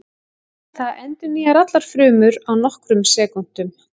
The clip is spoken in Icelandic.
Það endurnýjar allar frumur á nokkrum sekúndum.